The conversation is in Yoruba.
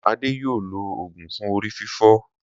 Adé yóò lo òògùn fún orí fífọ́.